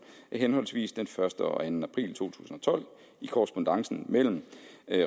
af henholdsvis den første og anden april to tusind og tolv i korrespondancen mellem